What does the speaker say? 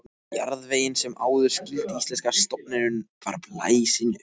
Jarðvegurinn, sem áður skýldi íslenska stofninum, væri blásinn upp.